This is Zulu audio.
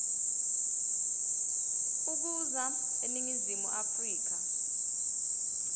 ukuza eningizimu afrika